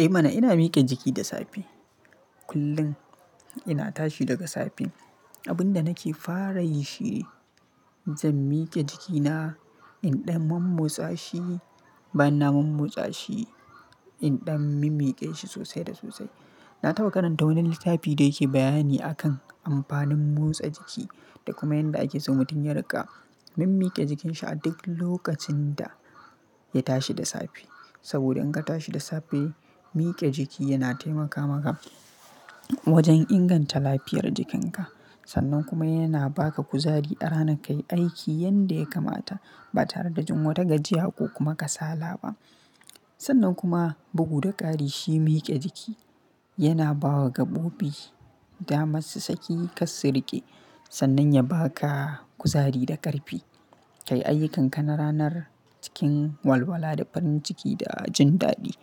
Eh mana ina mike jiki da safe. Kullum ina tashi daga safe. Abun da nake fara yi shine zan mike jikina indan momotsa shi, banna momotsa shi indan mimike shi sosai da sosai. Na taɓa karanta wani littafi da yake bayani akan amfanin motsa jiki da kuma yanda ake soh mutum ya riƙa mimike jikin shi a duk lokacin da ya tashi da safe. Saboda in ka tashi da safe, mike jiki yana taimaka maka, wajen inganta lafiyar jikinka. Sannan kuma yana ba ka kuzari a rana ka yi aiki yanda ya kamata ba tare da jin wata gajiya ko kuma kasala ba. Sannan kuma bugu da ƙari shi mike jiki yana ba wa gaɓoɓi damar su saki ƙasu kirƙe sannan ya ba ka kuzari da ƙarfi ka yi ayyukanka na ranar cikin walwala da farin ciki da jin daɗi.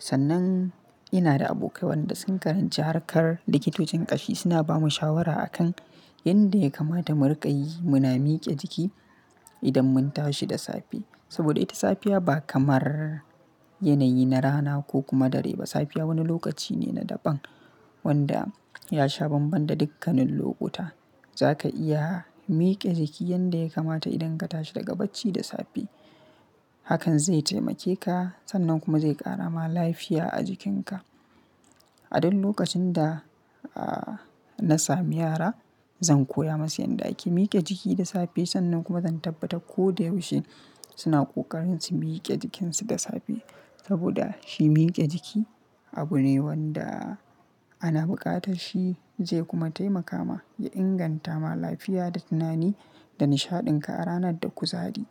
Sannan ina da abokai waɗanda sun karanci harkar likitocin ƙashi suna ba mu shawara akan yanda ya kamata mu riƙa yi muna mike jiki idan mun tashi da safe. Saboda ita safiya ba kamar yanayi na rana ko kuma dare ba. Safiya wani lokaci ne na daɓan wanda ya sha bambam da dukkanin lokuta. Za ka iya mike jiki yanda ya kamata idan ka tashi daga bacci da safe. Hakan zai taimake ka sannan kuma zai ƙara ma lafiya a jikinka. A duk lokacin da, ah, na sami yara zan koya masu yanda ake mike jiki da safe sannan kuma zan tabbata ko da yaushe suna ƙoƙarin su mike jikinsu da safe. Saboda shi mike jiki abu ne wanda ana buƙatar shi zai kuma taimaka ma ya inganta ma lafiya da tunani da nishaɗin ka a ranar da kuzari.